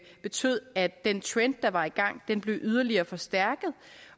betød at den trend der var i gang blev yderligere forstærket